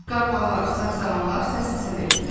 Qarğalar, saqsağanlar səs-səsə verdilər.